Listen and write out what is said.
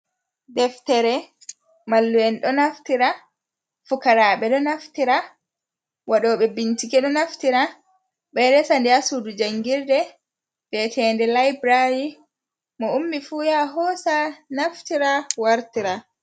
Deftere. Mallu'en ɗo naftira, fukaraaɓe ɗo naftira, waɗooɓe bincike ɗo naftira. Ɓe e resa nde haa suudu jangirde bi'eteede layburari, mo ummi fu ya hoosa naftira, wartira.